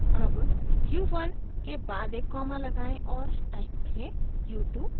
अब u1 के बाद एक कॉमा लगाएं और टाइप करें u2